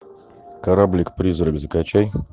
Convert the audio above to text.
кораблик призрак закачай